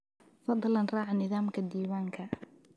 Fadlan raac nidaamka diiwaanka